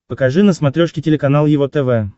покажи на смотрешке телеканал его тв